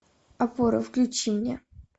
опора включи мне